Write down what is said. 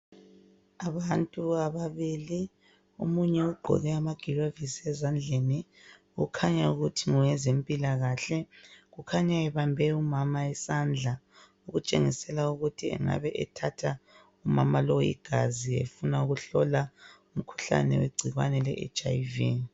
Abantu ababili omunye ogqoke amagilovisi ezandleni okhanya ukuthi ngowezempilakahle kukhanya ebambe umama isandla kutshengiselwa ukuthi engabe ethatha umama lo igazi efuna kuhlola umkhuhlane wegcibane LeHIV